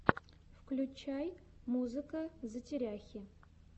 включай музыка затеряхи